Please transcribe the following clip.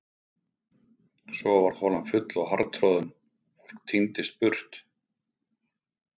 Svo varð holan full og harðtroðin, fólk tíndist burt.